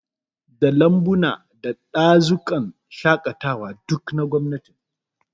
Da Lambuna da Dazukan shaƙatawa, duk na gwamnati ne